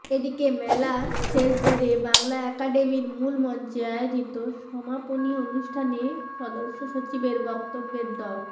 এদিকে মেলা শেষ ধরে বাংলা একাডেমির মূল মঞ্চে আয়োজিত সমাপনী অনুষ্ঠানে সদস্য সচিবের বক্তব্যে ড